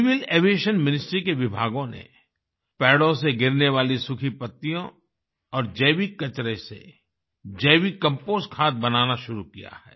civil aviation ministry के विभागों ने पेड़ों से गिरने वाली सूखी पत्तियों और जैविक कचरे से जैविक कंपोस्ट खाद बनाना शुरु किया है